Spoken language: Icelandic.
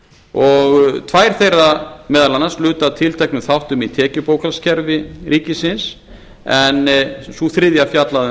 og tvær þeirra meðal annars lutu að tilteknum þáttum í tekjubókhaldskerfi ríkisins en sú þriðja fjallaði um